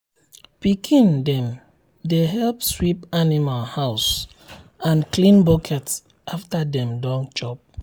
pikin dem dey help sweep animal house and clean bucket after dem don chop.